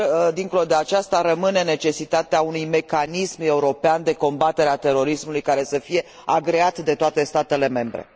Dincolo de aceasta, rămâne necesitatea unui mecanism european de combatere a terorismului care să fie agreat de toate statele membre.